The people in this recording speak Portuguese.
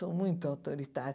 Sou muito autoritária.